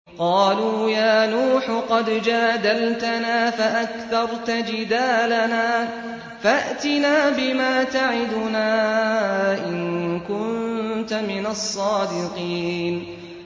قَالُوا يَا نُوحُ قَدْ جَادَلْتَنَا فَأَكْثَرْتَ جِدَالَنَا فَأْتِنَا بِمَا تَعِدُنَا إِن كُنتَ مِنَ الصَّادِقِينَ